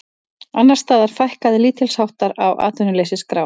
Annars staðar fækkaði lítilsháttar á atvinnuleysisskrá